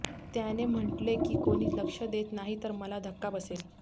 त्याने म्हटले की कोणी लक्ष देत नाही तर मला धक्का बसेल